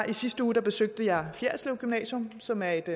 i sidste uge besøgte jeg fjerritslev gymnasium som er et